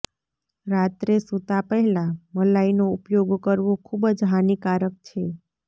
રાત્રે સુતાં પહેલાં મલાઇનો ઉપયોગ કરવો ખુબ જ હાનીકારક છે